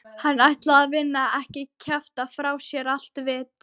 Hann ætlaði að vinna, ekki kjafta frá sér allt vit.